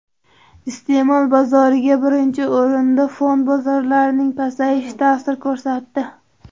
Iste’mol bozoriga birinchi o‘rinda fond bozorlarining pasayishi ta’sir ko‘rsatdi.